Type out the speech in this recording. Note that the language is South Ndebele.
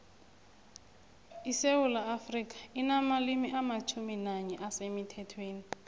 isewula afrika inamalimi amatjhumi nanye asemuthethweni